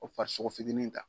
O farisogo fitinin ta.